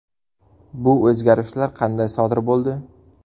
Bu o‘zgarishlar qanday sodir bo‘ldi?